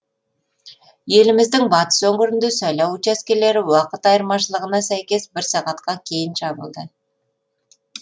еліміздің батыс өңірінде сайлау учаскелері уақыт айырмашылығына сәйкес бір сағатқа кейін жабылды